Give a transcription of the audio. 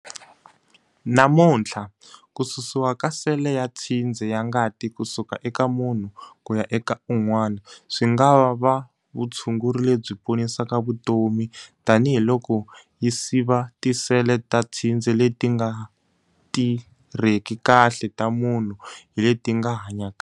Namuntlha, ku susiwa ka sele ya tshindze ya ngati ku suka eka munhu ku ya eka un'wana swi nga va vutshunguri lebyi ponisaka vutomi tanihiloko yi siva tisele ta tshindze leti nga ti rheki kahle ta munhu hi leti nga hanya kahle.